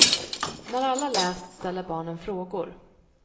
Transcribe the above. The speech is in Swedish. När alla läst ställer barnen frågor.